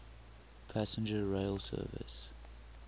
passenger rail service